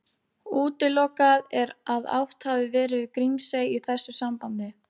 Útilokað er að átt hafi verið við Grímsey í þessu sambandi.